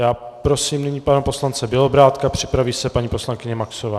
Já prosím nyní pana poslance Bělobrádka, připraví se paní poslankyně Maxová.